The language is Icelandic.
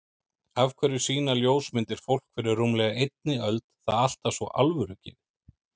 Af hverju sýna ljósmyndir fólk fyrir rúmlega einni öld það alltaf svo alvörugefið?